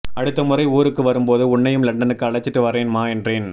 அடுத்த முறை ஊருக்கு வரும்போது உன்னையும் லண்டனுக்கு அழைச்சிட்டு வர்றேன்மா என்றேன்